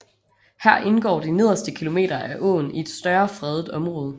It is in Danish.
Her indgår de nederste kilometer af åen i et større fredet område